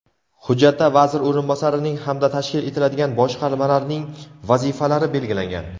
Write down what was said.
Hujjatda vazir o‘rinbosarining hamda tashkil etiladigan boshqarmalarning vazifalari belgilangan.